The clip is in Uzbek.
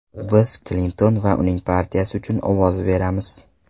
Biz Klinton va uning partiyasi uchun ovoz beramiz.